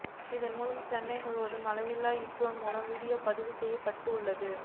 இதன் மூலம் சென்னை முழுக்க ஆளில்லா ட்ரோன் மூலம் வீடியோ பதிவு செய்யப்பட உள்ளது